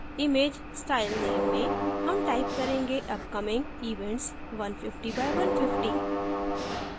image style name में हम type करेंगे upcoming events 150 x 150